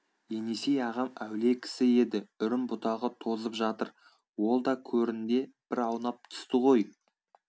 енесей ағам әулие кісі еді үрім бұтағы тозып жатыр ол да көрінде бір аунап түсті ғой